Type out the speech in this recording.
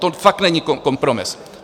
To fakt není kompromis.